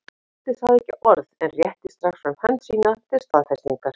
Skáldið sagði ekki orð en rétti strax fram hönd sína til staðfestingar.